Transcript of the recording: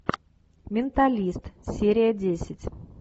менталист серия десять